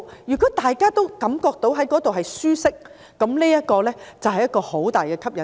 如果大家都覺得當地生活舒適，這便是很大的吸引力。